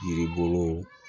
Yiri bolo